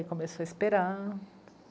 E começou a esperar.